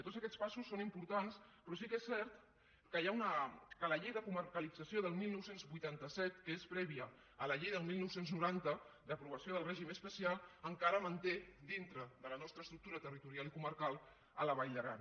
tots aquests passos són importants però sí que és cert que la llei de comarcalització del dinou vuitanta set que és prèvia a la llei del dinou noranta d’aprovació del règim especial encara manté dintre de la nostra estructura territorial i comarcal la vall d’aran